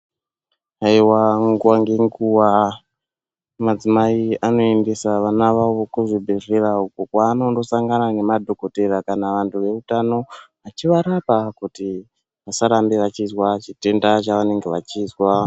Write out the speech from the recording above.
Haiwa nguwa ngenguwa madzimai anoendesa vana vavo kuzvibhedhlera uko kwavanondosangana nemadhokodheya kana vantu veutano kuti varapwe vasarambe veizwa chitenda chavanenge vachizwa.